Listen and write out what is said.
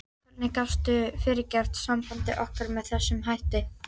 Hvernig gastu fyrirgert sambandi okkar með þessum hætti?